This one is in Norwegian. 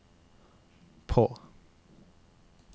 på